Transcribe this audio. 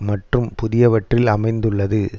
மற்றும் புதியவற்றில் அமைந்துள்ளது